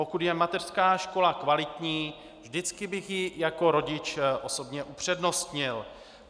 Pokud je mateřská škola kvalitní, vždycky bych ji jako rodič osobně upřednostnil.